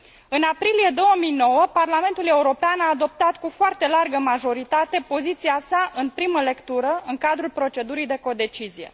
În aprilie 2009, Parlamentul European a adoptat cu foarte largă majoritate, poziția sa în primă lectură, în cadrul procedurii de codecizie.